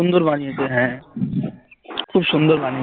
সুন্দর বানিয়েছে হ্যাঁ খুব সুন্দর বানিয়েছে